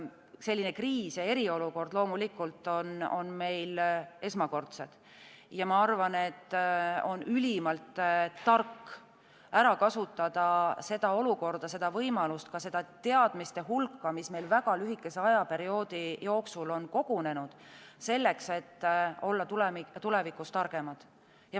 Selline kriis ja eriolukord on meil loomulikult esmakordne ja ma arvan, et on ülimalt tark ära kasutada seda olukorda, seda võimalust, ka seda teadmiste hulka, mis meil väga lühikese ajaperioodi jooksul on kogunenud, selleks et olla tulevikus targemad.